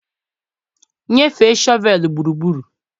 nyefe shọvel gburugburu